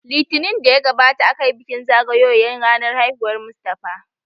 Litinin da ya gabata aka yi bikin zagayoyan ranan haihuwar Mustapha